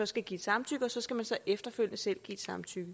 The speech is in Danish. skal give samtykke og så skal man efterfølgende selv give et samtykke